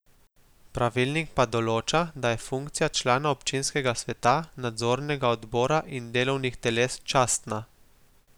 Pravilnik pa določa, da je funkcija člana občinskega sveta, nadzornega odbora in delovnih teles častna.